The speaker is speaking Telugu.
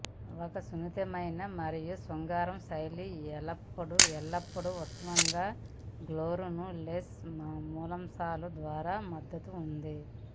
ఒక సున్నితమైన మరియు శృంగార శైలి ఎల్లప్పుడూ ఉత్తమంగా గోర్లు న లేస్ మూలాంశాలు ద్వారా మద్దతు ఉంది